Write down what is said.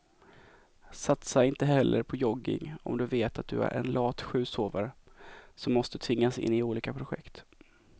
Satsa inte heller på jogging om du vet att du är en lat sjusovare som måste tvingas in i olika projekt.